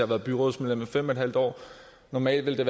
været byrådsmedlem i fem en halv år og normalt ville det